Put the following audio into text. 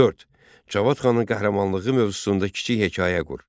Cavad xanın qəhrəmanlığı mövzusunda kiçik hekayə qur.